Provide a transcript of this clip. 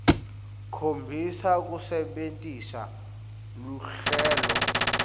khombisa kusebentisa luhlelo